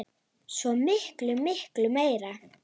Svo miklu, miklu meira.